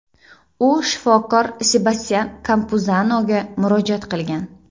U shifokor Sebastyan Kampuzanoga murojaat qilgan.